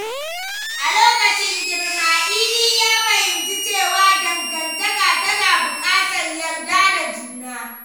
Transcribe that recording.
A lokacin girma, Idi ya fahimci cewa dangantaka tana bukatar yarda da juna.